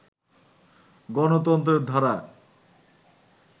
গণতন্ত্রের ধারায়